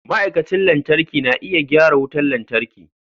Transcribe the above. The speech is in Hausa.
Ma'aikacin lantarki na iya gyara wutar lantarki.